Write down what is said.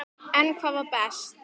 En hvað var best?